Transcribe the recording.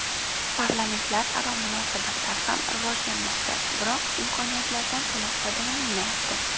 Parlamentlararo munosabatlar ham rivojlanmoqda, biroq imkoniyatlardan to‘liq foydalanilmayapti.